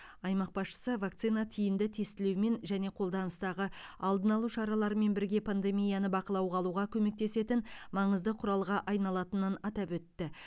аймақ басшысы вакцина тиімді тестілеумен және қолданыстағы алдын алу шараларымен бірге пандемияны бақылауға алуға көмектесетін маңызды құралға айналатынын атап өтті